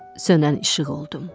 Sönən işıq oldum.